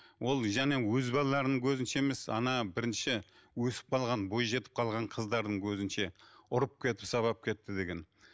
ол және өз балаларының көзінше емес ана бірінші өсіп қалған бойжетіп қалған қыздарының көзінше ұрып кетіп сабап кетті деген